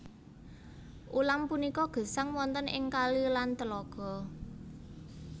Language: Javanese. Ulam punika gesang wonten ing kali lan tlaga